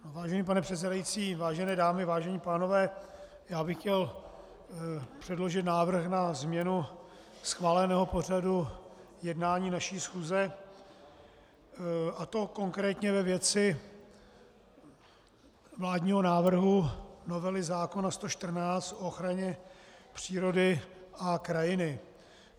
Vážený pane předsedající, vážené dámy, vážení pánové, já bych chtěl předložit návrh na změnu schváleného pořadu jednání naší schůze, a to konkrétně ve věci vládního návrhu novely zákona 114 o ochraně přírody a krajiny.